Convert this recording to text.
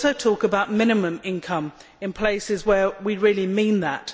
We also talk about minimum income in places where we really mean that.